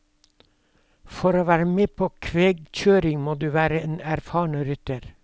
For å være med på kvegkjøring må du være en erfaren rytter.